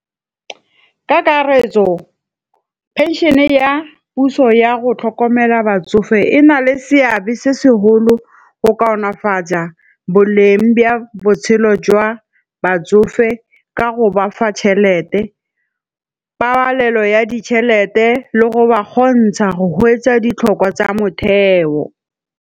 Ka karetso pension-e ya puso ya go tlhokomela batsofe e na le seabe se seholo go kaonafaja boleng ba botshelo jwa batsofe ka go ba fa tšhelete. Pabalelo ya ditšhelete le go ba gontsha go hwetsa ditlhokwa tsa motheo.